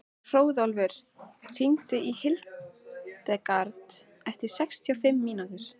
Hróðólfur, hringdu í Hildegard eftir sextíu og fimm mínútur.